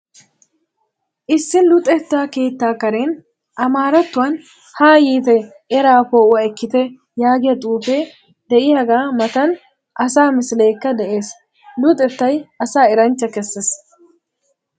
Issi luxetta keettaa karen amaarattuwan haa yiite eraa poo'uwa ekkite yaagiya xuufee de'iyagaa matan asaa misileekka de'ees. Luxettay asaa eranchcha kessees.